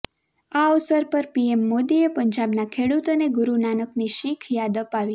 આ અવસર પર પીએમ મોદીએ પંજાબના ખેડૂતોને ગુરૂ નાનકની શિખ યાદ અપાવી